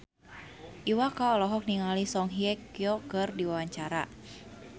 Iwa K olohok ningali Song Hye Kyo keur diwawancara